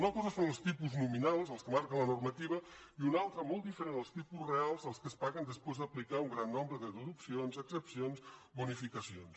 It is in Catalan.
una cosa són els tipus nominals els que marca la normativa i una altra molt diferent els tipus reals els que es paguen després d’aplicar un gran nombre de deduccions exempcions bonificacions